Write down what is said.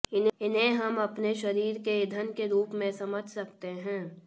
इन्हें हम अपने शरीर के ईंधन के रूप में समझ सकते हैं